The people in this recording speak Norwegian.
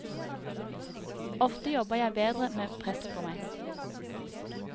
Ofte jobber jeg bedre med press på meg.